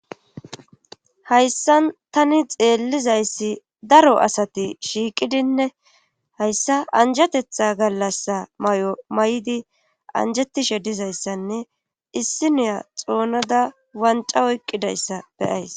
hayssan tani xeellizayssi daro asati shiiqidinne hayssa anjatetha gallassa may7o may7di anjatishe dizayssanne issiniya xoonada wanca oyqqidayssa beyays